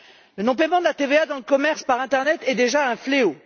Le non paiement de la TVA dans le commerce par internet est déjà un fléau.